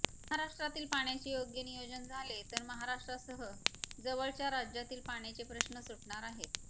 महाराष्ट्रातील पाण्याचे योग्य नियोजन झाले तर महाराष्ट्रासह जवळच्या राजातील पाण्याचे प्रश्न सुटणार आहेत